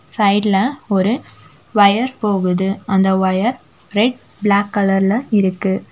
சைடுல ஒரு வயர் போகுது அந்த ஒயர் ரெட் பிளாக் கலர்ல இருக்கு.